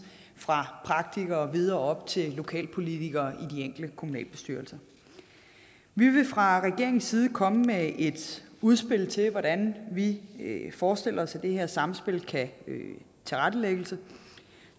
fra praktikere og videre op til lokalpolitikere i de enkelte kommunalbestyrelser vi vil fra regeringens side komme med et udspil til hvordan vi forestiller os det her samspil kan tilrettelægges